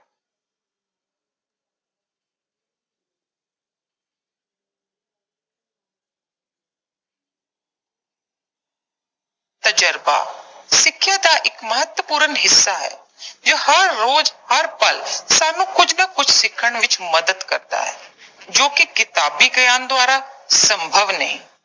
ਤਜਰਬਾ। ਸਿੱਖਿਆ ਦਾ ਇੱਕ ਮਹੱਤਵਪੂਰਨ ਹਿੱਸਾ ਹੈ, ਜੋ ਹਰ ਰੋਜ਼, ਹਰ ਪਲ ਸਾਨੂੰ ਕੁਝ ਨਾ ਕੁਝ ਸਿੱਖਣ ਵਿੱਚ ਮਦਦ ਕਰਦਾ ਹੈ, ਜੋ ਕਿ ਕਿਤਾਬੀ ਗਿਆਨ ਦੁਆਰਾ ਸੰਭਵ ਨਹੀਂ।